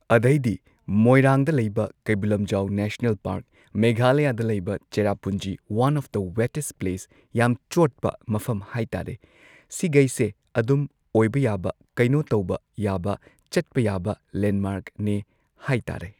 ꯑꯗꯩꯗꯤ ꯃꯣꯏꯔꯥꯡꯗ ꯂꯩꯕ ꯀꯩꯕꯨꯜ ꯂꯝꯖꯥꯎ ꯅꯦꯁꯅꯦꯜ ꯄꯥꯔꯛ ꯃꯦꯘꯥꯂꯌꯥꯗ ꯂꯩꯕ ꯆꯦꯔꯥꯄꯨꯟꯖꯤ one of the wettest place ꯌꯥꯝ ꯆꯣꯠꯄ ꯃꯐꯝ ꯍꯥꯏ ꯇꯥꯔꯦ ꯁꯤꯒꯩꯁꯦ ꯑꯗꯨꯝ ꯑꯣꯏꯕ ꯌꯥꯕ ꯀꯩꯅꯣ ꯇꯧꯕ ꯌꯥꯕ ꯆꯠꯄ ꯌꯥꯕ ꯂꯦꯟꯗꯃꯥꯔꯛꯅꯦ ꯍꯥꯏ ꯇꯥꯔꯦ꯫